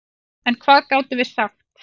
En hvað gátum við sagt?